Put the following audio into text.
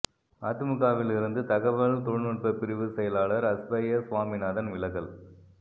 அதிமுகவில் இருந்து தகவல் தொழில்நுட்ப பிரிவு செயலாளர் அஸ்பயர் சுவாமிநாதன் விலகல்